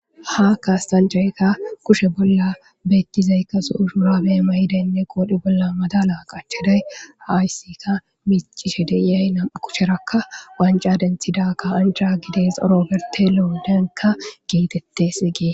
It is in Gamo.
Ha kassanichayika kushe bolla betizayika zo'o shurabe mayidayine qodhe bolla maddala qachidayi hayisika micishe deyey namu'u kusheraka wanicca denithida ka'anicha gidezi oroberitelo getetesi.